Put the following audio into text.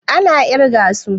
A na ƙirga su